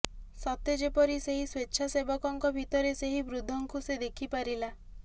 ସତେ ଯେପରି ସେହି ସ୍ୱେଚ୍ଛାସେବକଙ୍କ ଭିତରେ ସେହି ବୃଦ୍ଧଙ୍କୁ ସେ ଦେଖିପାରିଲା